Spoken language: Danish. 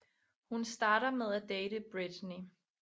Hun starter med at date Brittany